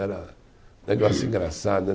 Era um negócio engraçado, né?